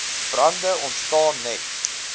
brande ontstaan net